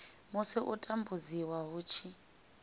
musi u tambudziwa hu tshi